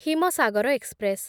Himsagar express